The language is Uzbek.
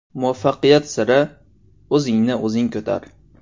Muvaffaqiyat siri: O‘zingni o‘zing ko‘tar.